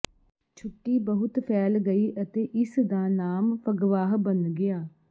ਛੁੱਟੀ ਬਹੁਤ ਫੈਲ ਗਈ ਅਤੇ ਇਸਦਾ ਨਾਮ ਫਗਵਾਹ ਬਣ ਗਿਆ